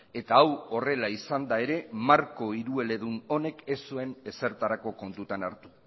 eta hau horrela izanda ere marko hirueledun honek ez zuen ezertarako kontutan hartu